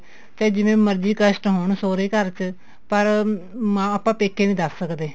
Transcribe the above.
ਤੇ ਜਿੰਨੇ ਮਰਜੀ ਕਸਟ ਹੋਣ ਸੋਹਰੇ ਘਰ ਚ ਪਰ ਮਾਂ ਆਪਾਂ ਪੇਕੇ ਨੀ ਦੱਸ ਸਕਦੇ